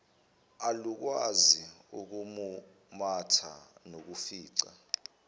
alukwazi ukumumatha nokufica